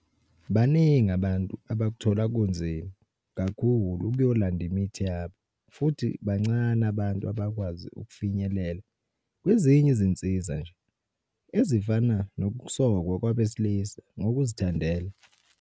Baningi abantu abakuthola kunzima kakhulu ukuyolanda imithi yabo futhi bancane abantu abakwazi ukufinyelela kwezinye izinsiza nje, ezifana nokusokwa kwabesilisa ngokuzithandela.